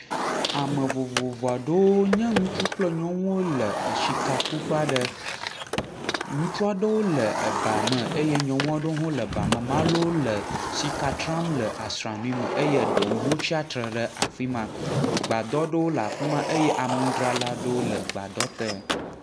Ame vovovo aɖewo nye nyɔnu kple ŋutsu aɖewo le sika ku ƒe aɖe. Ŋutsu aɖewo le eba me eye nyɔnu aɖewo le eba me, wole sika sram le asraŋuie me eye eɖewo tsratre ɖe afima, gbadɔ ɖewo le afima eye nu dzralawo le gbadɔ te.